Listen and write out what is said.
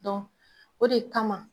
o de kama